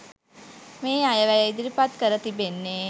මේ අයවැය ඉදිරිපත් කර තිබෙන්නේ.